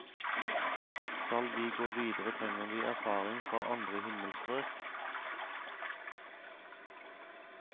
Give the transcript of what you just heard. Skal vi gå videre trenger vi erfaringer fra andre himmelstrøk.